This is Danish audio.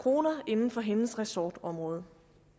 kroner inden for hendes ressortområde